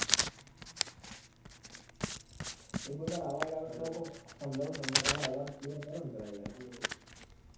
એ બધું પણ અવાજ આવે તો, કોક સમજાવું ન તમને, તમારો અવાજ clear કરો ને પેલા યાર. hello